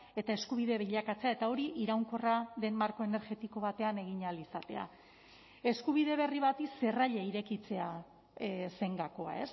eta eskubide bilakatzea eta hori iraunkorra den marko energetiko batean egin ahal izatea eskubide berri bati zerraila irekitzea zen gakoa